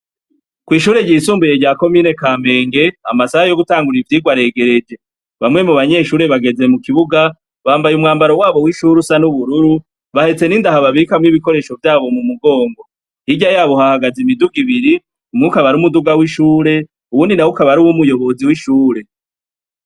Kw'ishure ryisumbuye rya komine ka menge amasaha yo gutangurira ivyirwa aregereje bamwe mu banyeshure bageze mu kibuga bambaye umwambaro wabo w'ishure usa n'ubururu bahetse n'indahababikamwo'ibikoresho vyabo mu mugongo hirya yabo uhahagaze imiduga ibiri umwuk abari umuduga w'ishure uwuni na wukabari uw'umuyobozi w'ishure.